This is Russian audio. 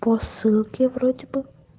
по ссылке вроде бы